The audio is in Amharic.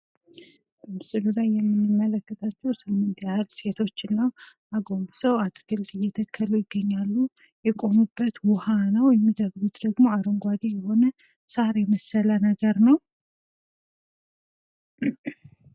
በምስሉ ላይ የምንመለከታቸው ስምንት ያህል ሴቶችን ነው። አጎንብሰው አትክልት እየተከሉ ይገኛሉ። የቆሙበት ውሃ ነው የሚተክሉት ደግሞ አረንጓዴ የሆነ ሳር የመሰለ ነገር ነው ።